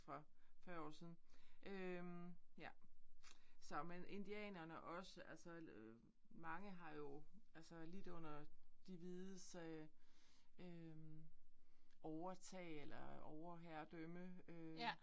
For 40 år siden. Øh ja så men indianerne også altså mange har jo altså lidt under de hvides øh øh overtag eller overherredømme øh